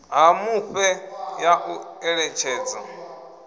ha mufhe ya u eletshedza